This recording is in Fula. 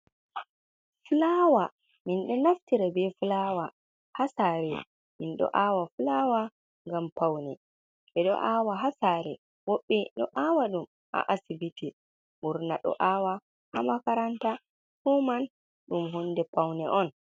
Fulawa min ɗo naftira be fulawa haa sare, min ɗo aawa fulawa ngam pawne, ɓe ɗo aawa haa saare, woɓbe ɗo aawa ɗum a asibiti, burna ɗo aawa a makaranta, fu man ɗum hunde pawne on.